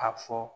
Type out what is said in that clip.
A fɔ